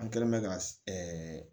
An kɛlen mɛ ka